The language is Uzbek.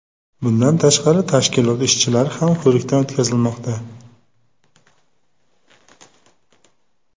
Bundan tashqari, tashkilot ishchilari ham ko‘rikdan o‘tkazilmoqda.